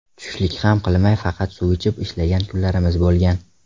Tushlik ham qilmay faqat suv ichib ishlagan kunlarimiz bo‘lgan.